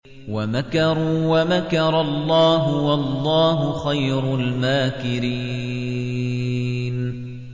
وَمَكَرُوا وَمَكَرَ اللَّهُ ۖ وَاللَّهُ خَيْرُ الْمَاكِرِينَ